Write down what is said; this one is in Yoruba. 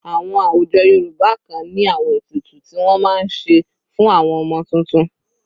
Àwọn àwùjọ Yorùbá kan ní àwọn ètùtù ti wọ́n máa ń ṣe fún àwọn ọmọ tuntun.